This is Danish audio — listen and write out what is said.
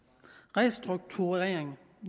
restrukturering